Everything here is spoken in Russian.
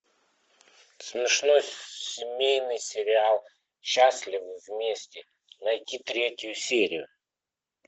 смешной семейный сериал счастливы вместе найти третью серию